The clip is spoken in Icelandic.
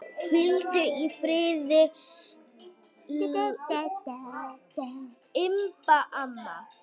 Hvíldu í friði, Imba amma.